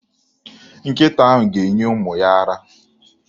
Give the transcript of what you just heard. Nkịta ahụ ga-enye ụmụ ya ara.